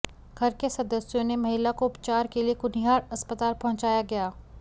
घर के सदस्यों ने महिला को उपचार के लिए कुनिहार अस्पताल पहुंचाया गया